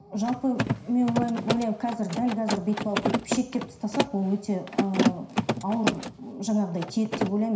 жалпы мен ойлаймын қазір дәл қазір бүйтіп алып бүйтіп шектеп тастасақ ол өте ыыы ауыр жаңағыдай тиеді деп ойлаймын